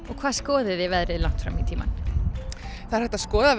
og hvað skoðið þið veðrið langt fram í tímann það er hægt að skoða